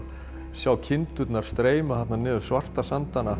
sjá kindurnar streyma niður svarta sandana